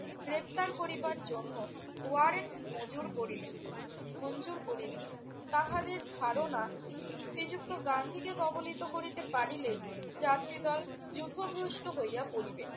গ্রেফতার করিবার জন্য ওয়ারেন্ট মজুর করিলেন~ মঞ্জুর করিলেন। তাহাদের ধারণা শ্রীযুক্ত গান্ধীকে কবলিত করিতে পারিলেই যাত্রীদল লক্ষভ্রষ্ট হইয়া পড়িবে।